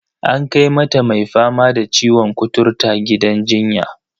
An kai mata mai fama da ciwon kuturta gidan jinya.